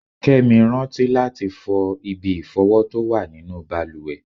Kẹ́mi rántí láti fọ ibi ìfọ̀wọ tó wà nínú bàlùwẹ̀.